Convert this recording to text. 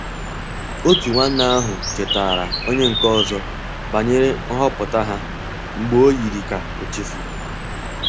Otu nwanne ahụ chetaara onye nke ọzọ banyere nhọpụta ha mgbe o yiri ka o chefuru.